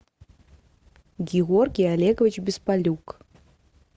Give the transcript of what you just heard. георгий олегович беспалюк